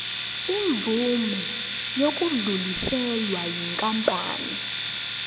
imvume yokudluliselwa yinkampani